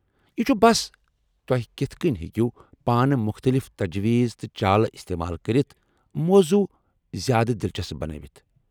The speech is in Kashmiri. یہ چُھ بس توہہِ کِتھہٕ کٔنۍ ہٮ۪کو پانہٕ مختٔلف تجویٖز تہٕ چالہٕ استعمال کٔرتھ موضوع زیادٕ دلچسپ بنٲوتھ ۔